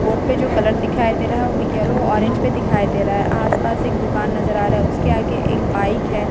Board पे जो colour दिखाय दे रहा है व येलो ऑरेंज पे दिखाय दे रहा है आस-पास एक दुकान नजर आ रहा है उसके आगे एक बाइक है।